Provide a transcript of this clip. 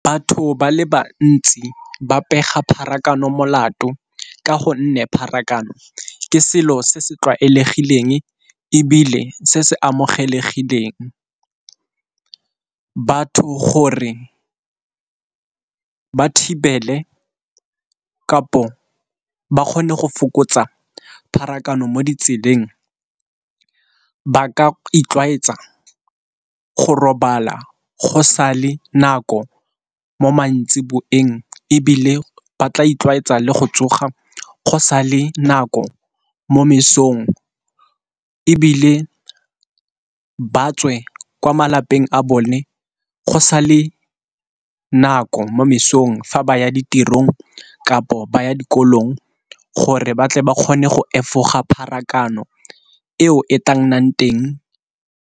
Batho ba le bantsi ba pega pharakano molato ka gonne pharakano ke selo se se tlwaelegileng ebile se se amogelesegileng. Batho gore ba thibele kapo ba kgone go fokotsa pharakano mo ditseleng ba ka itlwaetsa go robala go sa le nako mo mantsiboeng ebile ba tla itlwaetsa le go tsoga go sa le nako mo mesong, ebile ba tswe kwa malapeng a bone go sa le nako mo mosong fa ba ya ditirong kapo ba ya dikolong, gore batle ba kgone go efoga pharakano e o e tla nnang teng.